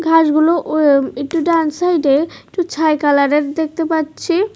ঘাসগুলো ও একটু ডান সাইডে একটু ছাই কালারের দেখতে পাচ্ছি।